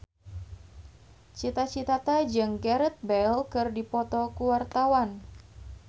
Cita Citata jeung Gareth Bale keur dipoto ku wartawan